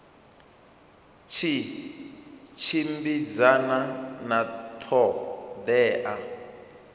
tshi tshimbidzana na ṱho ḓea